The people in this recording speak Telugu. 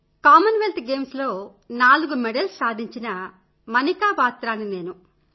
౧ కామన్వెల్త్ గేమ్స్ లో నాలుగు మెడల్స్ సాధించిన మనికా బాత్రా ని నేను